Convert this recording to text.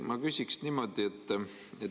Ma küsin niimoodi.